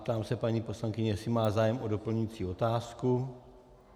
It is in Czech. Ptám se paní poslankyně, jestli má zájem o doplňující otázku.